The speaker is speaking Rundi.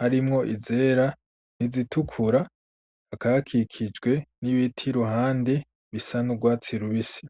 harimwo izera n'izitukura, hakaba hakikijwe n'ibiti iruhande bisa n'urwatsi rubisi.